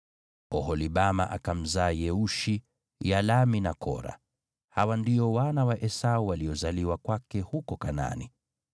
Oholibama akamzaa Yeushi, Yalamu na Kora. Hawa ndio wana wa Esau waliozaliwa kwake huko Kanaani.